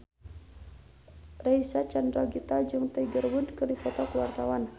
Reysa Chandragitta jeung Tiger Wood keur dipoto ku wartawan